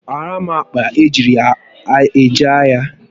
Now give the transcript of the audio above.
Kpaara m akpa eji eje ahịa